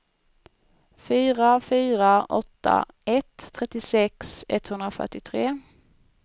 fyra fyra åtta ett trettiosex etthundrafyrtiotre